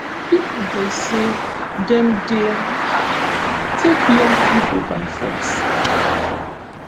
pipo dey say dem dey um take young pipo by force